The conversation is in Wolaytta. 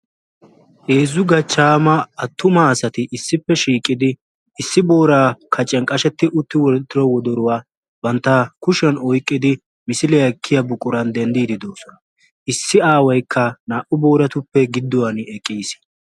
Heezzu gachchaama attuma asati issippe shiiqidi issi booraa kaciyan qashetti uttida wodoruwa bantta kushiyan oyikkidi misiliya ekkiya buquran denddii doosona.